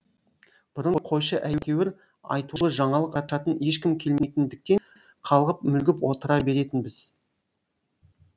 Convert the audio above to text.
бұрын қойшы әйтеуір айтулы жаңалық ашатын ешкім келмейтіндіктен қалғып мүлгіп отыра беретінбіз